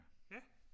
ja